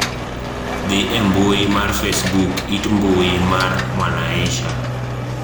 dhi e mbui mar facebook it mbui mar mwanaisha